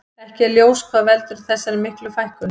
Ekki er ljós hvað veldur þessar miklu fækkun.